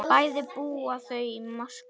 Bæði búa þau í Moskvu.